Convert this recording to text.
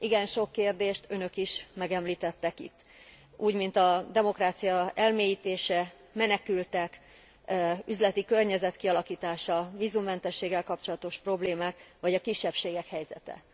Igen sok kérdést önök is megemlítettek itt, úgymint a demokrácia elmélyítése, menekültek, üzleti környezet kialakítása, vízummentességgel kapcsolatos problémák, vagy a kisebbségek helyzete.